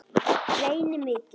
Reyni mikið.